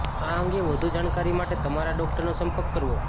આ અંગે વધુ જાણકારી માટે તમારા ડોક્ટરનો સંપર્ક કરવો